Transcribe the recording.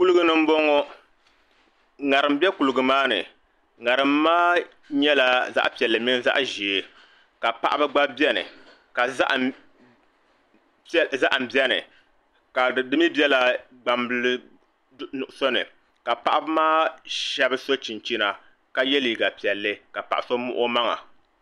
Kuligi ni n bɔŋɔ ŋarim bɛ kuligi maa ni ŋarim maa nyɛla zaɣ piɛlli mini zaɣ ʒiɛ ka paɣaba gba biɛni ka zaham biɛni dimii biɛla gbambili nuɣso ni ka paɣaba maa shab so chinchina ka yɛ liiga piɛlli ka paɣa so muɣi o maŋa